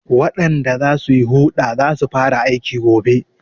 Waɗanda za su yi huɗa za su fara aiki gobe.